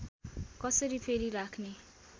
कसरी फेरि राख्ने